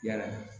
Yala